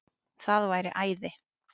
Það væri æði